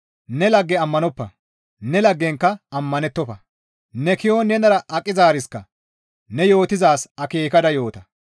ne lagge ammanoppa; ne laggenkka ammanettofa; ne ki7on nenara aqizaariska ne yootizaaz akeekada yoota.